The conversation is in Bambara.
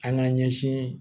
An ka ɲɛsin